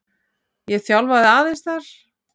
Ég þjálfaði aðeins þar.